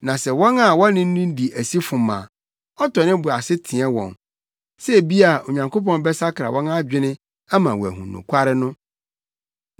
a sɛ wɔn a wɔne no di asi fom a, ɔtɔ ne bo ase teɛ wɔn, sɛ ebia Onyankopɔn bɛsakra wɔn adwene ama wɔahu nokware no.